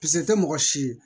Piske te mɔgɔ si